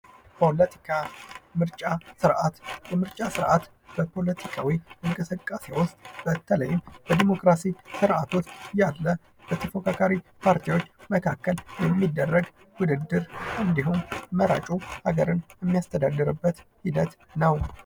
ፖለቲካ፦ ምርጫ ስርዓት፦ ምርጫ ስርዓት በፖለቲካ ኢንቅስቃሴ ዉስጥ በተለይም በዲሞክራሲ ስር አት ዉስጥ ያለ በተፈካካሪ ፓርቲወች መካከል የሚደረግ ወድድር ነው።